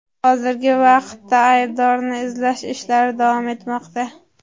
Hozirgi vaqtda aybdorni izlash ishlari davom etmoqda.